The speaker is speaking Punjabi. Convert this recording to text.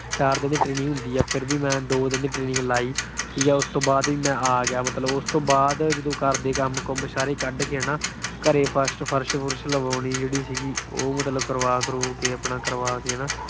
ਚਾਰ ਦਿਨ ਦੀ training ਹੁੰਦੀ ਆ। ਫਿਰ ਵੀ ਮੈਂ ਦੋ ਦਿਨ ਦੀ training ਲਾਈ। ਉਸ ਤੋਂ ਬਾਅਦ ਮੈਂ ਆ ਗਿਆ ਮਤਲਬ। ਉਸ ਤੋਂ ਬਾਅਦ ਜਦੋਂ ਘਰ ਦੇ ਕੰਮ ਕੂੰਮ ਸਾਰੇ ਕੱਢ ਕੇ ਨਾ ਘਰੇ ਫਰਸ਼-ਫੁਰਸ਼ ਲਗਵਾਉਣੀ ਜਿਹੜੀ ਸੀਗੀ, ਉਹ ਆਪਣਾ ਕਰਵਾ ਕਰਵੂ ਕੇ ਅਹ ਅਪਣਾ ਕਰਵਾ ਕੇ ਨਾ